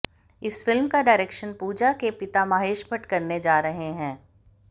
इस फिल्म का डायरेक्शन पूजा के पिता महेश भट्ट करने जा रहे हैं